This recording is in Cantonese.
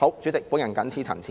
主席，我謹此陳辭。